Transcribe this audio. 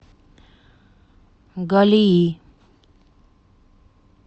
галии